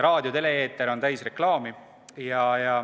Raadio- ja tele-eeter on täis reklaami.